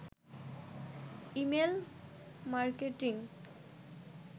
email marketing